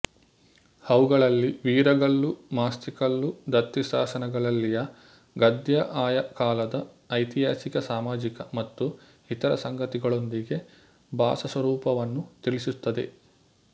ಅವುಗಳಲ್ಲಿ ವೀರಗಲ್ಲು ಮಾಸ್ತಿಕಲ್ಲು ದತ್ತಿಶಾಸನಗಳಲ್ಲಿಯ ಗದ್ಯ ಆಯಾ ಕಾಲದ ಐತಿಹಾಸಿಕ ಸಾಮಾಜಿಕ ಮತ್ತು ಇತರ ಸಂಗತಿಗಳೊಂದಿಗೆ ಭಾಷಾಸ್ವರೂಪವನ್ನು ತಿಳಿಸುತ್ತದೆ